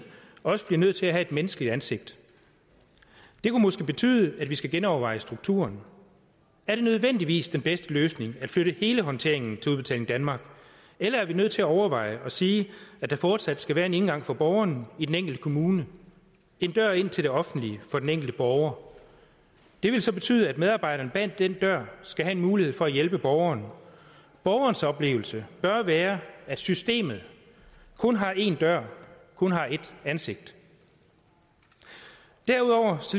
også bliver nødt til at have et menneskeligt ansigt det kunne måske betyde at vi skal genoverveje strukturen er det nødvendigvis den bedste løsning at flytte hele håndteringen til udbetaling danmark eller er vi nødt til at overveje og sige at der fortsat skal være en indgang for borgerne i den enkelte kommune en dør ind til det offentlige for den enkelte borger det vil så betyde at medarbejderen bag denne dør skal have en mulighed for at hjælpe borgeren borgerens oplevelse bør være at systemet kun har én dør kun har ét ansigt derudover